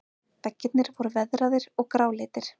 Veggirnir voru veðraðir og gráleitir.